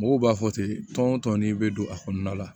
Mɔgɔw b'a fɔ ten tɔn tɔn ni bɛ don a kɔnɔna la